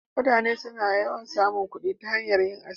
Mutane suna samun kuɗi ta hanyar yin aski.